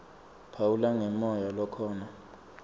phawula ngemoya lokhona